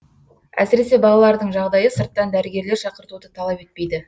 әсіресе балалардың жағдайы сырттан дәрігерлер шақыртуды талап етпейді